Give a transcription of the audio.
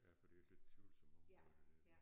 Ja for det et lidt tvivlsomt område det der